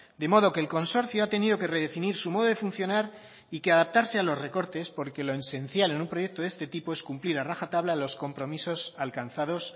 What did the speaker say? de modo que el consorcio ha tenido que redefinir su modo de funcionar y que adaptarse a los recortes porque lo esencial en un proyecto de este tipo es cumplir a rajatabla los compromisos alcanzados